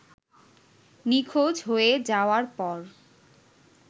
নিখোঁজ হয়ে যাওয়ার পর